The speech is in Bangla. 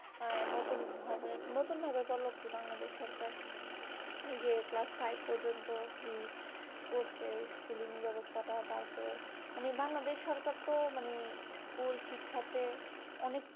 নতুন ভাবে নতুন ভাবে উপলব্ধি বাংলাদেশ সরকার যে class five পর্যন্ত free করছে schooling ব্যবস্থা টা তারপরে মানে বাংলাদেশ সরকার তো মানে school শিক্ষাতে অনেক